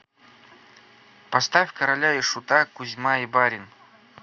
поставь короля и шута кузьма и барин